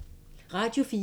Radio 4